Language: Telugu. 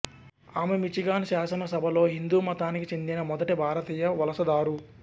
ఆమె మిచిగాన్ శాసనసభలో హిందూ మతానికి చెందిన మొదటి భారతీయ వలసదారు